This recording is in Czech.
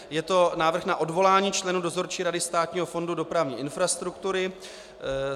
Je to Návrh na odvolání členů Dozorčí rady Státního fondu dopravní infrastruktury.